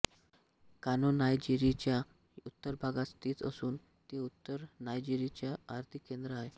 कानो नायजेरियाच्या उत्तर भागात स्थित असून ते उत्तर नायजेरियाचे आर्थिक केंद्र आहे